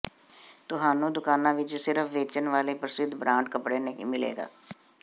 ਤੁਹਾਨੂੰ ਦੁਕਾਨਾਂ ਵਿਚ ਸਿਰਫ ਵੇਚਣ ਵਾਲੇ ਪ੍ਰਸਿੱਧ ਬ੍ਰਾਂਡ ਕਪੜੇ ਨਹੀਂ ਮਿਲੇਗਾ